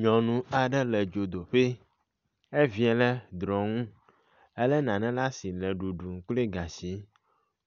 Nyɔnu aɖe le dzodoƒe. Evia le drɔnu ele nane ɖe asi le ɖuɖum kple gatsi.